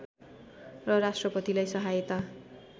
र राष्‍ट्रपतिलाई सहायता